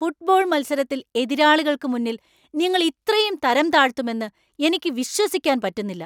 Football മത്സരത്തിൽ എതിരാളികൾക്ക് മുന്നിൽ നിങ്ങൾ ഇത്രയും തരംതാഴ്ത്തുമെന്ന് എനിക്ക് വിശ്വസിക്കാൻ പറ്റുന്നില്ല.